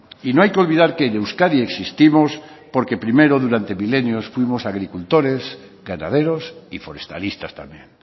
y no hay que olvidar que en euskadi existimos porque primero durante milenios fuimos agricultores ganaderos y forestalistas también